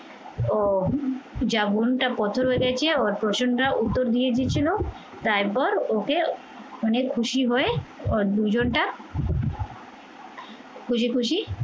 ও যা মনটা পাথর হয়ে গেছে ওর পোশানটা উত্তর দিয়ে দিয়েছিল তারপর ওকে মানে খুশি হয়ে ওর দুজনটা খুশি খুশি